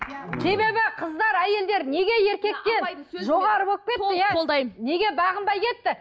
себебі қыздар әйелдер неге еркектен жоғары болып кетті иә неге бағынбай кетті